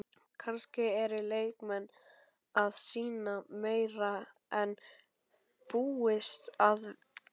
Kannski eru leikmenn að sýna meira en búist var við?